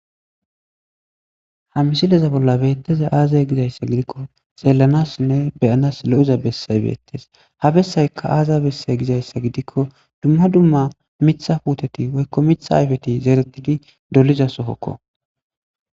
Ha msileza bolla beetteza aazay gizayssa gidikko xeellanassinne beyanas lo'eza bessay beettes ha bessaykka aaza bessay gizayssa gidikko dumma dumma mitha puteti woykko mitha ayfeti zeeretidi doliza sohokko